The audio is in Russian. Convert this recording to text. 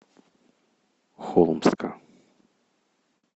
холмска